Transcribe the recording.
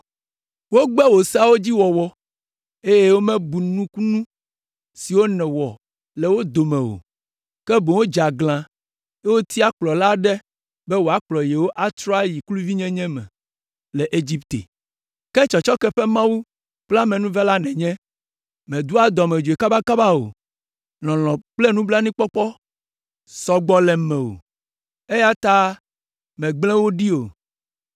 “Wogbe wò Seawo dzi wɔwɔ, eye womebu nukunu siwo nèwɔ le wo dome o, ke boŋ wodze aglã, eye wotia kplɔla aɖe be wòakplɔ yewo atrɔ ayi kluvinyenye me le Egipte! Ke tsɔtsɔke ƒe Mawu kple amenuvela nènye. Mèdoa dɔmedzoe kabakaba o; lɔlɔ̃ kple nublanuikpɔkpɔ sɔ gbɔ le mewò, eya ta megble wo ɖi o,